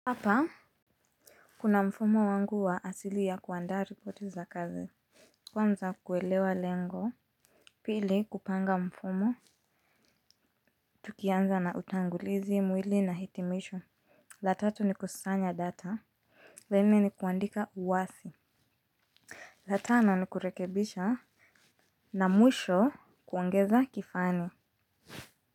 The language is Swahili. Hapa kuna mfumo wangu wa asili ya kuandaa ripoti za kazi. Kwanza kuelewa lengo. Pili kupanga mfumo. Tukianza na utangulizi mwili na hitimisho. La tatu ni kusanya data. La nne ni kuandika uwasi. La tana ni kurekebisha. Na mwisho kuongeza kifani.